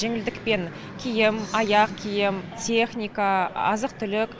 жеңілдікпен киім аяқ киім техника азық түлік